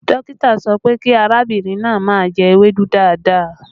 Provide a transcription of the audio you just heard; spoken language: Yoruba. Dókítà sọ pé kí arábìnrin náà má jẹ ewédú dáadáa